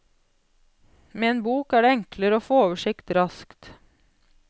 Med en bok er det enklere å få oversikt raskt.